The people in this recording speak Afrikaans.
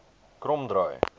kromdraai